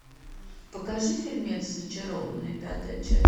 покажи фильмец зачарованные пятая часть